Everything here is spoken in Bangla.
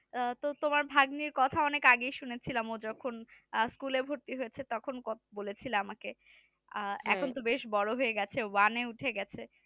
আহ তো তোমার ভাগ্নির কথা অনেক আগেই শুনেছিলাম ও যখন school এ ভর্তি হয়েছে তখন কথা বলে ছিলো আমাকে আহ এখুন তো বেশ বোড়ো হয়ে গেছে one এ উঠে গেছে মানে বেশ